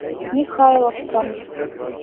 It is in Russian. михайловском